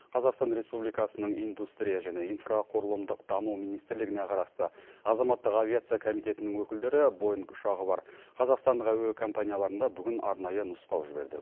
қазақстан республикасының индустрия және инфрақұрылымдық даму министрлігіне қарасты азаматтық авиация комитетінің өкілдері боинг ұшағы бар қазақстандық әуекомпанияларында бүгін арнайы нұсқау жіберді